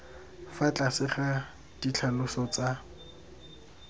fa tlase ga ditlhaloso tsa